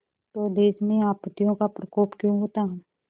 तो देश में आपत्तियों का प्रकोप क्यों होता